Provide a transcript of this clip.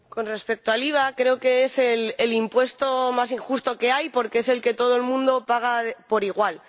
Con respecto al IVA, creo que es el impuesto más injusto que hay, porque es el que todo el mundo paga por igual.